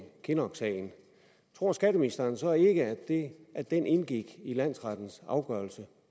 kinnock sagen tror skatteministeren så ikke at den indgik i landsrettens afgørelse